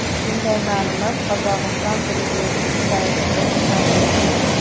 Bunday ma’lumot Qozog‘iston prezidenti saytida ham yo‘q.